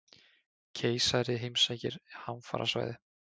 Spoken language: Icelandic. Keisari heimsækir hamfarasvæði